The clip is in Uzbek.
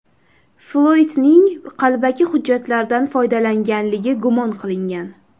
Floydning qalbaki hujjatlardan foydalanganligi gumon qilingan.